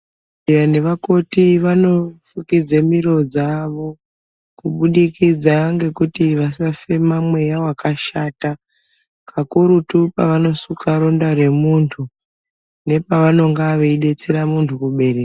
...nevakoti vanofukidze miro dzavo kubudikidza ngekuti vasafema mweya wakashata. Kakurutu pavanosuka ronda remuntu, nepavanonga veidetsera muntu kubereka.